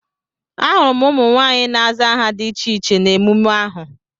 Ahụrụ m ụmụ nwaanyị na-aza aha dị iche iche na emume ahụ.